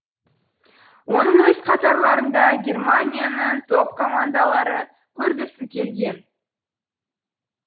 оны өз қатарларында германияның топ командалары көргісі келген